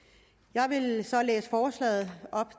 jeg vil så læse forslaget